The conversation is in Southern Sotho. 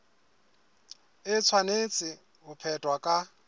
e tshwanetse ho phethwa ka